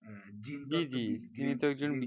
জি জি